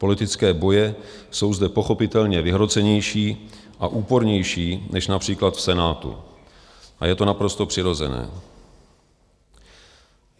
Politické boje jsou zde pochopitelně vyhrocenější a úpornější než například v Senátu a je to naprosto přirozené.